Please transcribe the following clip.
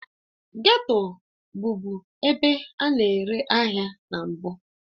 Geto bụbu ebe a na-ere ahịa na mbụ